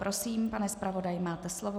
Prosím, pane zpravodaji, máte slovo.